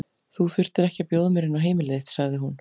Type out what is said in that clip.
Þú þurftir ekki að bjóða mér inn á heimili þitt, sagði hún.